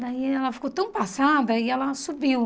Daí ela ficou tão passada e ela subiu.